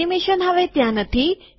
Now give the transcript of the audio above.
animation હવે ત્યાં નથી